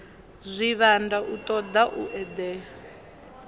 zwivhanda u toda u edela